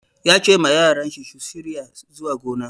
Ya ce ma yaran shi su shirya zuwa gona.